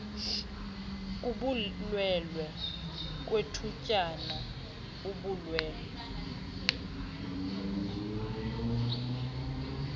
kubulwelwe kwethutyana ubulwelwe